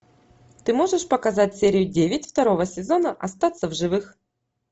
ты можешь показать серию девять второго сезона остаться в живых